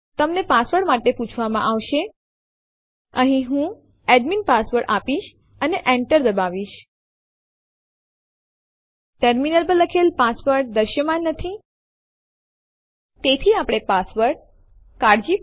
તમે વિવિધ ડિરેક્ટરીઝ માં અથવા વિવિધ ડિરેક્ટરીઝ થી ફાઈલો કોપી કરી શકો છોઉદહરણ તરીકે લખો સીપી homeanirbanarcdemo1 homeanirbandemo2 અને Enter ડબાઓ